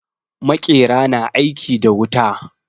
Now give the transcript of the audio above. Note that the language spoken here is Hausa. Maƙera na aiki da wuta.